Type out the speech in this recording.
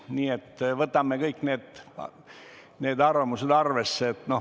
Nii et võtame kõik need arvamused arvesse.